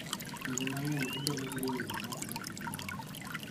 Kinde mang�eny gibedo gi winjruok ma ok ber gi ji mamoko.